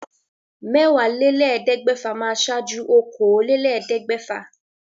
Mẹ́wàálélẹ́ẹ̀ẹ́dẹ́gbẹ́fà máa wà ṣáájú okòólélẹ́ẹ̀ẹ́dẹ́gbẹ́fà